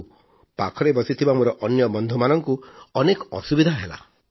ଯୋଗୁଁ ବସିଥିବା ମୋର ଅନ୍ୟ ବନ୍ଧୁମାନଙ୍କୁ ଅନେକ ଅସୁବିଧା ହେଲା